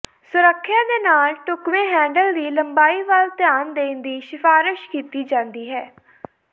ਸੁਰੱਖਿਆ ਦੇ ਨਾਲ ਢੁਕਵੇਂ ਹੈਂਡਲ ਦੀ ਲੰਬਾਈ ਵੱਲ ਧਿਆਨ ਦੇਣ ਦੀ ਸਿਫਾਰਸ਼ ਕੀਤੀ ਜਾਂਦੀ ਹੈ